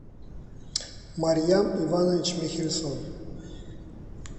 марьям иванович михельсон